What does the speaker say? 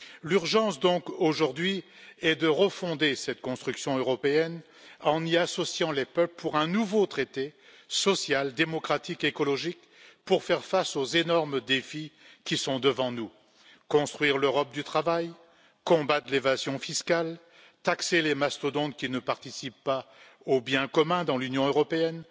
L'urgence, donc, aujourd'hui, est de refonder cette construction européenne en y associant les peuples pour un nouveau traité social, démocratique et écologique pour faire face aux énormes défis qui sont devant nous construire l'Europe du travail, combattre l'évasion fiscale, taxer les mastodontes qui ne participent pas au bien commun dans l'Union européenne,